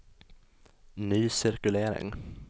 ny cirkulering